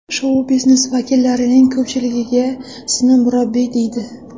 Shou-biznes vakillarining ko‘pchiligiga sizni murabbiy deydi.